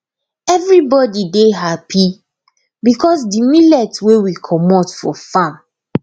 everybody dey happy because de millet wey we comot for farm